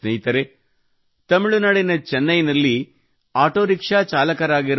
ಹಿತರೇ ತಮಿಳುನಾಡಿನ ಚೆನ್ನೈನಲ್ಲಿ ಆಟೋರಿಕ್ಷಾ ಚಾಲಕರಾಗಿರುವ ಎಂ